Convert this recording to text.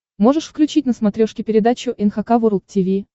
можешь включить на смотрешке передачу эн эйч кей волд ти ви